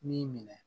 Ni minɛ